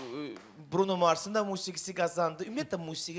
Bruno Marsın da musiqisi qazandı, ümumiyyətlə musiqi qazandı.